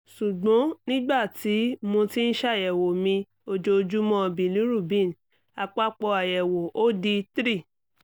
sugbon nigbati mo ti n ṣayẹwo mi ojoojumọ bilirubin apapọ ayẹwo o di three